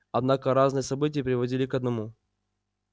однако разные события приводили к одному